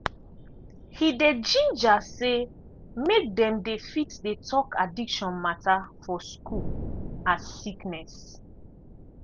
he dey ginger say make dem dey fit dey talk addiction matter for school as sickness.